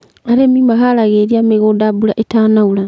arĩmi mahaaragĩrĩa mĩgũnda mbura ĩtanaura